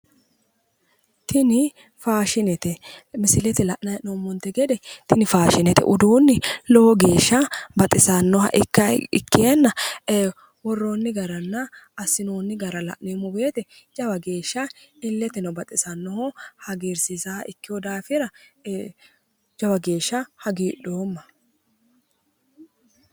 Tini faashinete, misilete lannay hee'noommote gede tini faashinte uduunni lowo geeshsha baxisannoha ikkeenna worroonni garanna assinoonni gara la'neemmo woyte jawa geeshsha illeteno baxisannoho hagiirsiisawoha ikkeewo daafira jawa geeshsha hagiidhoommo.